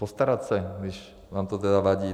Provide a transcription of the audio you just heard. Postarat se, když vám to tedy vadí.